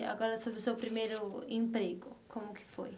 E agora sobre o seu primeiro emprego, como que foi?